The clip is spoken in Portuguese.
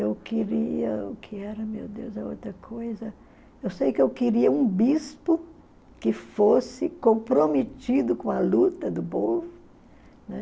Eu queria, o que era, meu Deus, a outra coisa, eu sei que eu queria um bispo que fosse comprometido com a luta do povo, né?